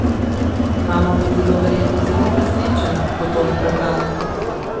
Mama bo zelo verjetno zelo presenečena, ko bo tole prebrala.